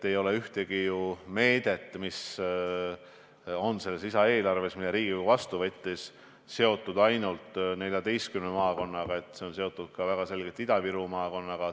Ei ole ükski meede selles lisaeelarves, mille Riigikogu vastu võttis, seotud ainult 14 maakonnaga, vaid need on väga selgelt seotud ikka ka Ida-Viru maakonnaga.